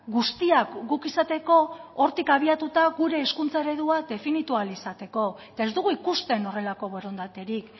guztiak guk izateko hortik abiatuta gure hezkuntza eredua definitu ahal izateko eta ez dugu ikusten horrelako borondaterik